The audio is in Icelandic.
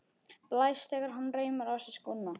Blæs þegar hann reimar á sig skóna.